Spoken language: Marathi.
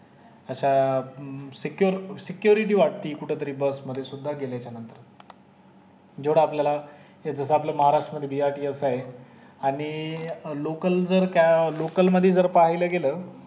अश्या अं secure security वाटती कुठे तरी बस ने सुद्धा गेल्या नंतर जेवढा आपल्याला जस आपल्या महाराष्ट्रामध्ये BRTLS आहे आणि अं लोकल जर क्या लोकल मधी जर पहिले गेलं